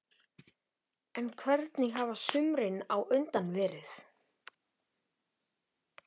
Gísli: En hvernig hafa sumrin á undan verið?